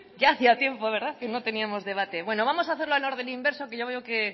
ya hacía tiempo que no teníamos debate bueno vamos a hacerlo en orden inverso que ya veo que